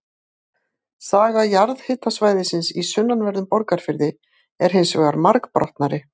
Saga jarðhitasvæðisins í sunnanverðum Borgarfirði er hins vegar margbrotnari.